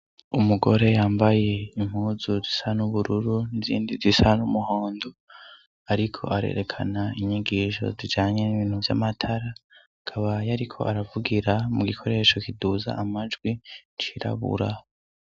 Umugore yambaye impuzu zisa n'ubururu n'izindi zisa n'umuhondo, ariko arerekana inyigisho zijanye n'ibintu vy'amatara, akaba yariko aravugira mu gikoresho kiduza amajwi cirabura.